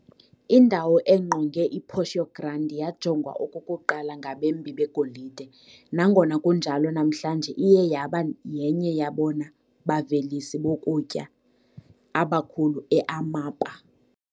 Indawo engqonge iPorto Grande yajongwa okokuqala ngabembi begolide, nangona kunjalo namhlanje iye yaba yenye yabona bavelisi bokutya abakhulu e-Amapa.